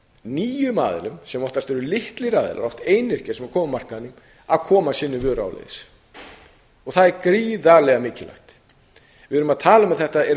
nýjum aðilum sem oftast eru litlir aðilar oft einyrkjar sem koma af markaðnum að koma sinni vöru áleiðis og það er gríðarlega mikilvægt við erum að tala um að þetta eru